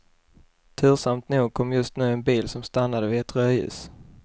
Tursamt nog kom just nu en bil som stannade vid ett rödljus.